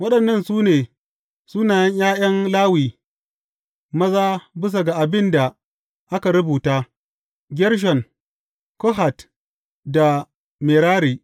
Waɗannan su ne sunayen ’ya’yan Lawi maza bisa ga abin da aka rubuta, Gershon, Kohat da Merari.